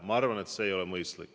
Ma arvan, et see ei ole mõistlik.